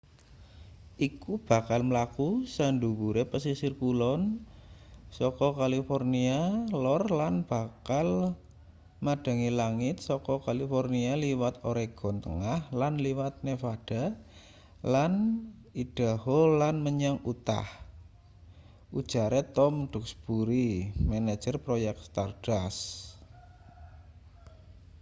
iku bakal mlaku sadhuwure pesisir kulon saka california lor lan bakal madhangi langit saka california liwat oregon tengah lan liwat nevada lan idaho lan menyang utah ujare tom duxbury manajer proyek stardust